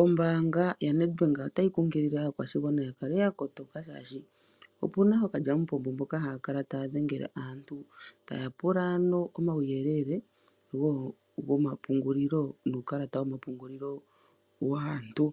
Ombaanga yaNedbank otayi kunkilile aakwashigwana yakale yakotoka shashi opuna ookalyamupombo mboka hakala tayadhengele aantu taya pula omauyele womapungulilo nuukalata womapungulilo waantu